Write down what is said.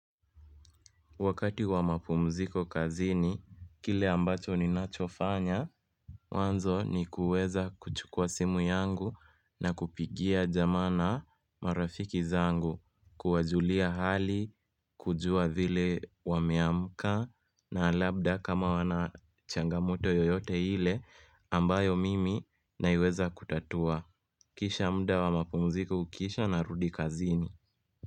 Wakati wa mapumziko kazini, kile ambacho ni nachofanya, mwanzo ni kuweza kuchukua simu yangu na kupigia jamaa na marafiki zangu, kuwajulia hali, kujua vile wameamka na labda kama wana changamoto yoyote hile ambayo mimi na iweza kutatua. Kisha mda wa mapumziko ukisha na rudi kazini.